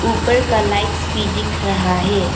ऊपर का लाइट्स भी दिख रहा है।